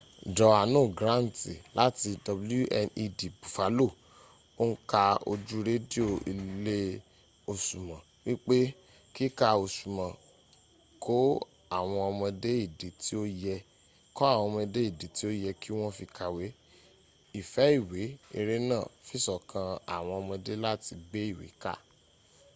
johanu granti lati wned bufalo o n ka oju redio ile osumo wipe kika osumo ko awon omode idi ti o ye ki won fi kawe,...ife iwe - [ere naa] fisokan aawon omode lati gbe iwe ka..